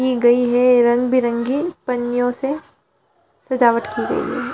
की गई है रंग-बिरंगे पन्नियों से सजावट की गई है।